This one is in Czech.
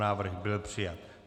Návrh byl přijat.